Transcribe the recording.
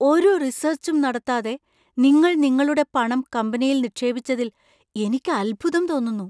ഒരു റിസർച്ചും നടത്താതെ നിങ്ങൾ നിങ്ങളുടെ പണം കമ്പനിയിൽ നിക്ഷേപിച്ചതിൽ എനിക്ക് അത്ഭുതം തോന്നുന്നു.